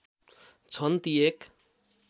छन् ती एक